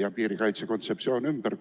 ja piirikaitse kontseptsioon ümber?